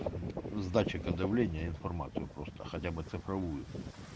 с датчика давления информацию просто хотя бы цифровую